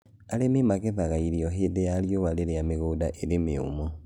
Arĩmi magethaga irio hĩndĩ ya riũa rĩrĩa mĩgũnda ĩrĩ mĩũmũ.